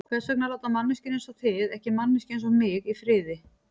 Hvers vegna láta manneskjur einsog þið ekki manneskju einsog mig í friði?